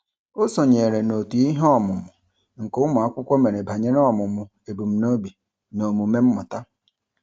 O sonyeere n'òtù iheọmụmụ nke ụmụakwukwo mere banyere ọmụmụ ebumnobi na omume mmụta.